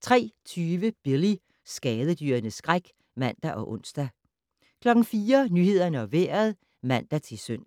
03:20: Billy - skadedyrenes skræk (man og ons) 04:00: Nyhederne og Vejret (man-søn)